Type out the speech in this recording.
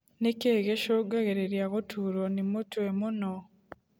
Nĩkĩĩ gĩcungagĩrĩria gũturwo nĩ mũtwe mũno